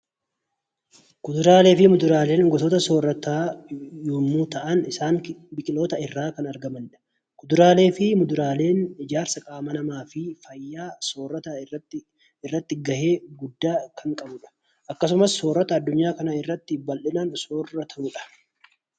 Kuduraalee fi muduraaleen gosoota soorataa yommuu ta'an, isaan biqiloota irraa kan argamanidha. Kuduraalee fi muduraaleen ijaarsa qaama namaa fi fayyaa soorataa irratti guddaa kan qabu akkasumas soorata addunyaa kanaarratti baay'inaan sooratamudha .